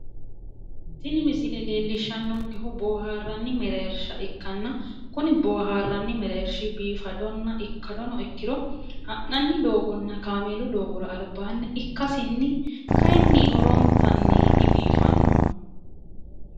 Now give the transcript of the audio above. tini misile leellishshanonkehu boohaarranni mereersha ikkanna kuni boohaarranni mereershi biifadonna ikkadono ikkiro ha'nanni doogonna kaameelu doogora albaanni ikkasinni kayiinni horontanni dibiifannoho.